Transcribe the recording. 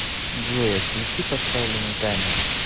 джой отключи поставленный таймер